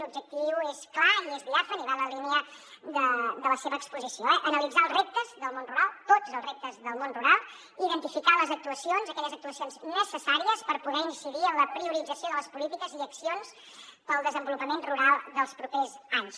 l’objectiu és clar i és diàfan i va en la línia de la seva exposició analitzar els reptes del món rural tots els reptes del món rural i identificar aquelles actuacions necessàries per poder incidir en la priorització de les polítiques i accions per al desenvolupament rural dels propers anys